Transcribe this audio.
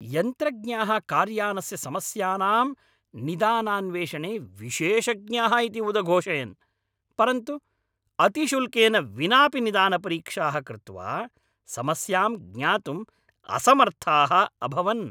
यन्त्रज्ञाः कार्यानस्य समस्यानां निदानान्वेषणे विशेषज्ञाः इति उदघोषयन् परन्तु अतिशुल्केन विनापि निदानपरीक्षाः कृत्वा समस्यां ज्ञातुम् असमर्थाः अभवन्।